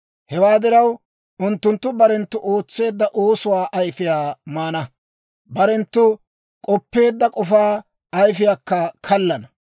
Hewaa diraw, unttunttu barenttu ootseedda oosuwaa ayifiyaa maana; barenttu k'oppeedda k'ofaa ayifiyaakka kallana.